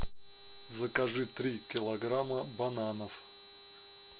закажи три килограмма бананов